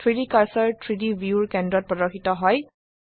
3ডি কাৰ্সাৰ 3ডি ভিউয়ৰ কেন্দ্ৰত প্ৰদৰ্শিত হয়